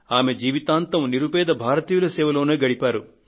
ఆమె జీవితాంతం నిరుపేద భారతీయుల సేవలోనే గడిపేశారు